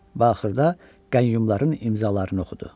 Və axırda qəyyumların imzalarını oxudu.